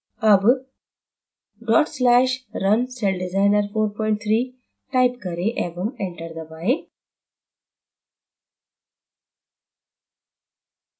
अब/runcelldesigner43 type करें एवं enter दबाएँ